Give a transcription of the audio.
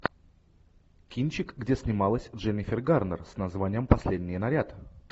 кинчик где снималась дженнифер гарнер с названием последний наряд